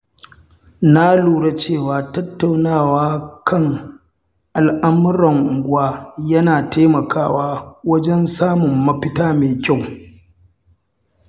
Na lura cewa tattaunawa kan al'amuran unguwa yana taimakawa wajen samun mafita mai kyau.